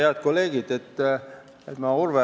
Head kolleegid!